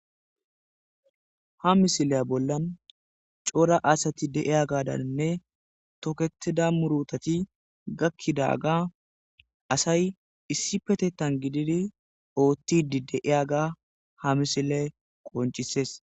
ha misilaya bollan coora aasati dei'ya gadaninne toketida murutati gakkidaga asay issi petettan gididi oottidi deiyaga ha misile qoncisees